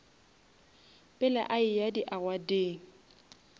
pele a eya di awardeng